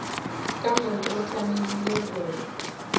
ka mong o tlamehile ho